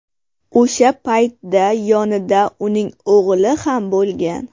O‘sha paytda yonida uning o‘g‘li ham bo‘lgan.